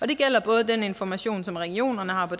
det gælder både den information som regionerne har på